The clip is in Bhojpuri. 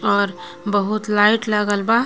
और बहुत लाइट लागल बा.